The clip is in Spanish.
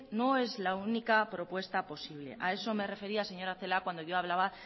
no es la única propuesta posible a eso me refería señora celaá cuando yo hablaba